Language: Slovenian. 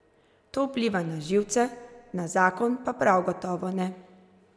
To vpliva na živce, na zakon pa prav gotovo ne.